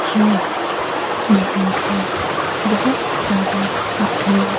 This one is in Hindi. हैं यहां पर बहोत सारे घर--